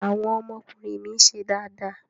Àwọn ọmọkùnrin mi ń ṣe dáadáa.